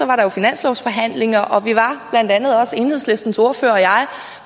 var der jo finanslovsforhandlinger og vi var blandt andet også enhedslistens ordfører og jeg